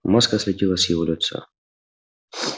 маска слетела с его лица